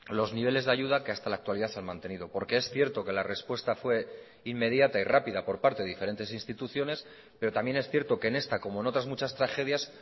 los niveles de ayuda que hasta la actualidad se han mantenido porque es cierto que la respuesta fue inmediata y rápida por parte de diferentes instituciones pero también es cierto que en esta como en otras muchas tragedias